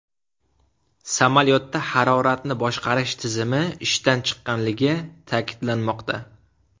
Samolyotda haroratni boshqarish tizimi ishdan chiqqanligi ta’kidlanmoqda.